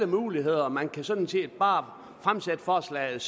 muligheder man kan sådan set bare fremsætte forslaget